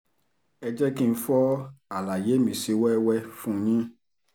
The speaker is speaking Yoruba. ẹ jẹ́ kí n fọ àlàyé mi sí wẹ́wẹ́ fún yín